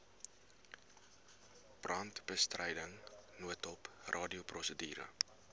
brandbestryding noodhulp radioprosedure